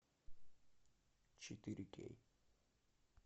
четыре кей